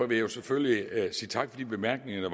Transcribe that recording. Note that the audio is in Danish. vil selvfølgelig sige tak for de bemærkninger